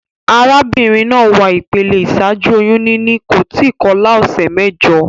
Arábínrin naa wà ìpele ìsájú oyún níní, kò tí kolá òsè méjo